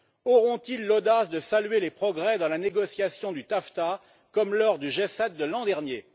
Auront ils l'audace de saluer les progrès dans la négociation du TAFTA, comme lors du G7 de l'an dernier?